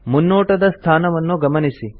ಮುನ್ನೋಟದ ಸ್ಥಾನವನ್ನು ಗಮನಿಸಿ